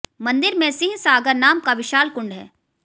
मंदिर में सिंह सागर नाम का विशाल कुंड है